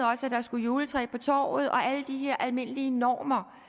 der skulle et juletræ på torvet og alle de her almindelige normer